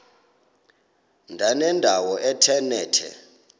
ndanendawo ethe nethe